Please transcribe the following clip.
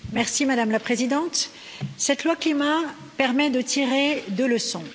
Madame la Présidente, cette loi climat permet de tirer deux leçons.